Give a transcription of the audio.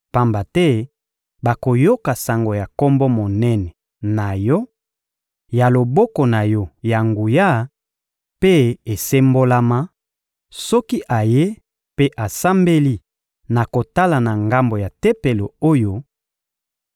pamba te bakoyoka sango ya Kombo monene na Yo, ya loboko na Yo ya nguya mpe esembolama; soki ayei mpe asambeli na kotala na ngambo ya Tempelo oyo,